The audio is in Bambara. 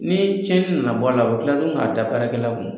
Ni cɛnni nana bɔ a la, u bɛ tila k'a da baarakɛlaw kun.